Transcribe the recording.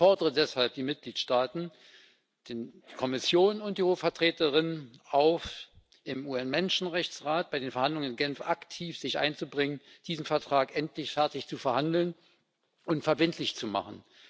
Ich fordere deshalb die Mitgliedstaaten, die Kommission und die Hohe Vertreterin auf, sich im UN Menschenrechtsrat bei den Verhandlungen in Genf aktiv einzubringen, diesen Vertrag endlich fertig zu verhandeln und verbindlich zu machen.